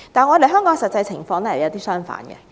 可是，香港的實際情況卻完全相反。